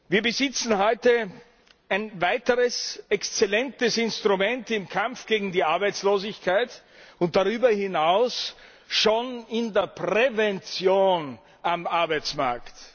Wir besitzen heute ein weiteres exzellentes Instrument im Kampf gegen die Arbeitslosigkeit und darüber hinaus schon in der Prävention am Arbeitsmarkt.